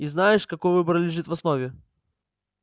и знаешь какой выбор лежит в основе